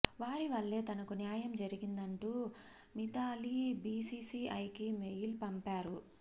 వారి వల్లే తనకు న్యాయం జరిగిందంటూ మిథాలీ బీసీసీఐకి మెయిల్ పంపారు